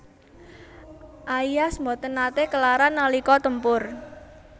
Aias boten naté kelaran nalika tempur